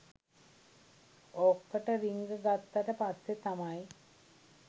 ඕකට රින්ග ගත්තට පස්සේ තමයි